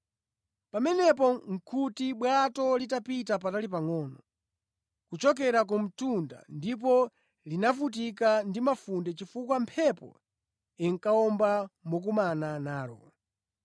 Pamenepo nʼkuti bwato litapita patali pangʼono kuchokera ku mtunda ndipo linavutika ndi mafunde chifukwa mphepo inkawomba mokumana nalo.